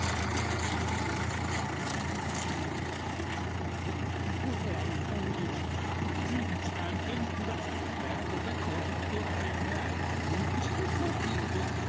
হ্যাঁ একদমই আপনি জানেন না এতটা কষ্ট হয়না মানে কি বলবো